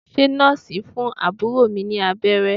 Ṣé Nọ́ọ̀sì ń fún àbúrò mi ní abẹ́rẹ́?